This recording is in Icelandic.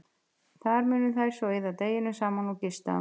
Þar munu þær svo eyða deginum saman og gista um nóttina.